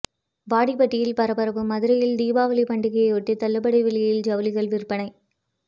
வாடிப்பட்டியில் பரபரப்பு மதுரையில் தீபாவளி பண்டிகையையொட்டி தள்ளுபடி விலையில் ஜவுளிகள் விற்பனை